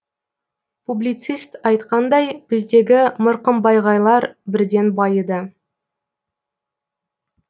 публицист айтқандай біздегі мырқымбайғайлар бірден байыды